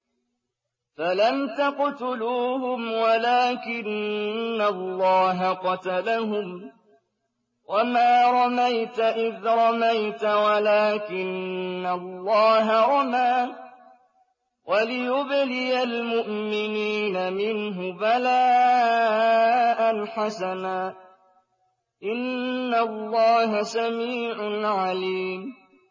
فَلَمْ تَقْتُلُوهُمْ وَلَٰكِنَّ اللَّهَ قَتَلَهُمْ ۚ وَمَا رَمَيْتَ إِذْ رَمَيْتَ وَلَٰكِنَّ اللَّهَ رَمَىٰ ۚ وَلِيُبْلِيَ الْمُؤْمِنِينَ مِنْهُ بَلَاءً حَسَنًا ۚ إِنَّ اللَّهَ سَمِيعٌ عَلِيمٌ